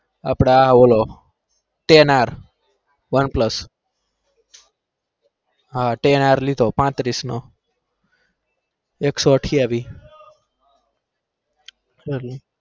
આપદા પેલા tenar one plus હ tenar નો લીધો એકસો પાંત્રીસ નો